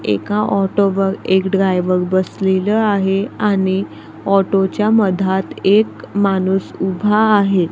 एका ऑटोवर एक ड्रायव्हर बसलेलं आहे आणि ऑटोच्या मधात एक माणूस उभा आहे.